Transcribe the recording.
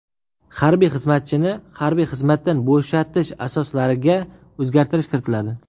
Harbiy xizmatchini harbiy xizmatdan bo‘shatish asoslariga o‘zgartirish kiritiladi.